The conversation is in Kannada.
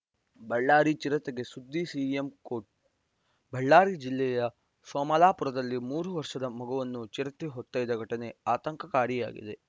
ಬಳ್ಳಾರಿ ಚಿರತೆ ಸುದ್ದಿಗೆ ಸಿಎಂ ಕೋಟ್‌ ಬಳ್ಳಾರಿ ಜಿಲ್ಲೆಯ ಸೋಮಲಾಪುರದಲ್ಲಿ ಮೂರು ವರ್ಷದ ಮಗುವನ್ನು ಚಿರತೆ ಹೊತ್ತೊಯ್ದ ಘಟನೆ ಆತಂಕಕಾರಿಯಾಗಿದೆ